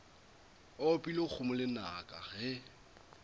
ba opile kgomo lenaka ge